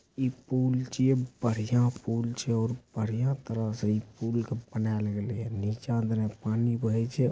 इ पूल छे बढियां पूल छे और बड़ियाँ छे।